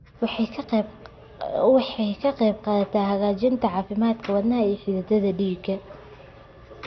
Waxay ka qaybqaadataa hagaajinta caafimaadka wadnaha iyo xididdada dhiigga.